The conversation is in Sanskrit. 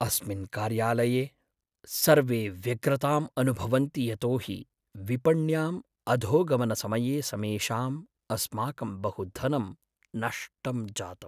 अस्मिन् कार्यालये सर्वे व्यग्रताम् अनुभवन्ति यतोहि विपण्याम् अधोगमनसमये समेषाम् अस्माकं बहु धनं नष्टं जातम्।